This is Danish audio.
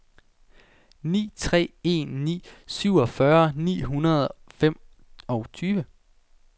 ni tre en ni syvogfyrre ni hundrede og femogtyve